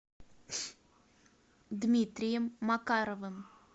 дмитрием макаровым